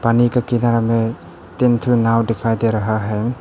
पानी के किनारे में तीन ठो नाव दिखाई दे रहा है।